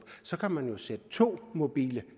kan man jo sætte to mobile